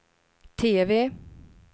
TV